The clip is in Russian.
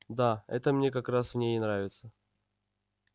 да это мне как раз в ней и нравится